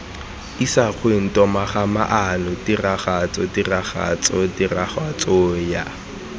isagweng togamaano tiragatso tiragatso tiragatsoya